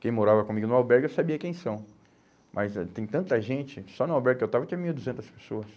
Quem morava comigo no albergue eu sabia quem são, mas eh tem tanta gente, só no albergue que eu estava tinha mil e duzentas pessoas.